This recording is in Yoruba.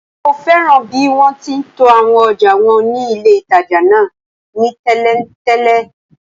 Mo fẹ́ràn bí wọ́n ti to àwọn ọjà wọn ní ilé-ìtàjà náà ni tẹ̀léǹtẹ̀lé